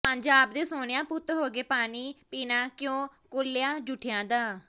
ਪੰਜ ਆਬ ਦੇ ਸੋਹਣਿਆ ਪੁੱਤ ਹੋ ਕੇ ਪਾਣੀ ਪੀਣਾ ਕਿਉਂ ਕੌਲਿਆਂ ਜੂਠਿਆਂ ਦਾ